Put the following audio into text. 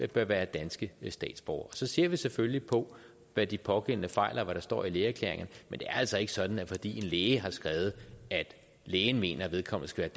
bør være danske statsborgere så ser vi selvfølgelig på hvad de pågældende fejler og hvad der står i lægeerklæringerne men det er altså ikke sådan at fordi en læge har skrevet at lægen mener at vedkommende skal